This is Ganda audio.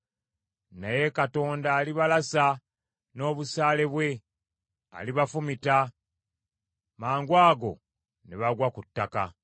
Naye Katonda alibalasa n’obusaale bwe; alibafumita, mangwago ne bagwa ku ttaka.